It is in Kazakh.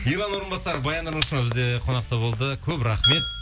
ерлан орынбасаров баян нұрмышева бізде қонақта болды көп рахмет